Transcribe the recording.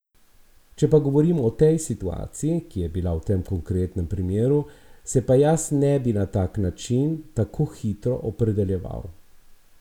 Če pa govorimo o tej situaciji, ki je bila v tem konkretnem primeru, se pa jaz ne bi na tak način, tako hitro opredeljeval.